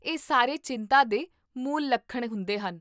ਇਹ ਸਾਰੇ ਚਿੰਤਾ ਦੇ ਮੂਲ ਲੱਖਣ ਹੁੰਦੇ ਹਨ